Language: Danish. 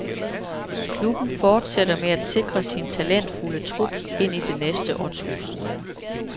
Klubben fortsætter med at sikre sin talentfulde trup ind i det næste årtusind.